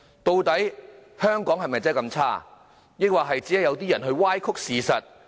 究竟香港是否真的這麼差，抑或只是有人歪曲事實？